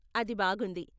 అది బాగుంది.